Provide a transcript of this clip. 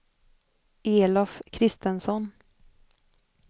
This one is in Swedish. Elof Kristensson